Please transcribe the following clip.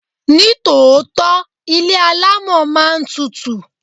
Ní tòótọ́, ilé alámọ̀ máa ń tutù.